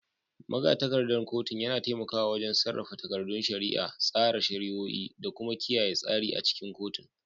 Magatakardar kotu yana taimakawa wajen sarrafa takardun shari'a, tsara shari'o'i, da kuma kiyaye tsari a cikin kotun.